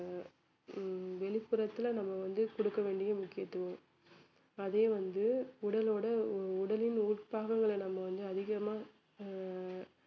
ஹம் வெளிப்புறத்தில நம்ம வந்து கொடுக்க வேண்டிய முக்கியத்துவம் அதையே வந்து உடலோட உடலின் உட்பாகங்கள்ல நம்ம வந்து அதிகமா ஆஹ்